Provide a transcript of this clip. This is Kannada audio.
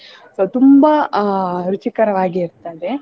So ತುಂಬಾ ಅಹ್ ರುಚಿಕರವಾಗಿರುತ್ತದೆ.